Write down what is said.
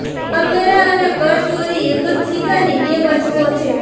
કરવેરા અને કરચોરી એક જ સિક્કાની બે બાજુઓ છે